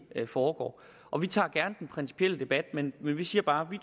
foregår og vi tager gerne den principielle debat men vi vi siger bare